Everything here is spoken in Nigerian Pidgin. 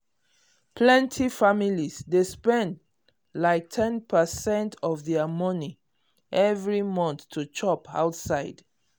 plenty families dey spend like ten percent of their money every month to chop outside.